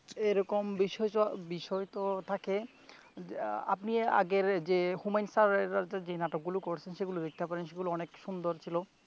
এরকম বিষয়তো থাকে, আহ আপনি আগের যে হুমায়ূন স্যারের যে নাটকগুলো করছে সেগুলো দেখতে পারেন। সেগুলো অনেক সুন্দর ছিল।